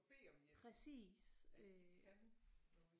Bede om hjælp at de kan noget